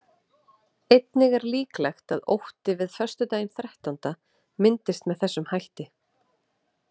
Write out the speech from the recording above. Einnig er líklegt að ótti við föstudaginn þrettánda myndist með þessum hætti.